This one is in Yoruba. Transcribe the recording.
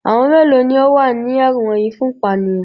Àwọn mélòó ni ó wà ní ẹ̀wọ̀n yìí fún ìpanìyàn?